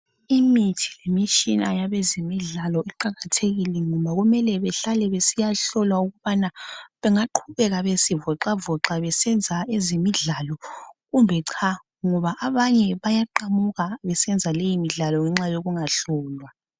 Imithi lemishina yabezemidlalo iqakathekile kwabezemidlalo ngoba kuqakathekile ukuthi bebebehlala besiyahlolwa ukubana bengaqhubeka bezivoxavoxa besenza ezemidlalo kumbe cha ngoba abanye bayaqamuka besenza leyimidlalo ngenxa yokungahlolwa